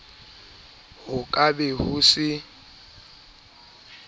ho ka be ho se